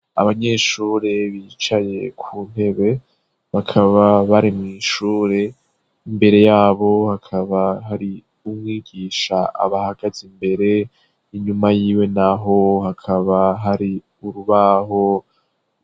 Abanyeshuri bicaye ku ntebe, bakaba bari mw'ishure, imbere ya bo hakaba hari umwigisha abahagaze imbere, inyuma y'iwe na ho hakaba hari urubaho.